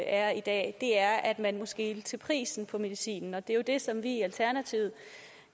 er i dag er at man må skele til prisen for medicin og det er jo det som vi i alternativet